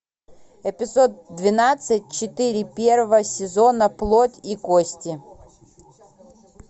эпизод двенадцать четыре первого сезона плоть и кости